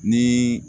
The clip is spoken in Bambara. Ni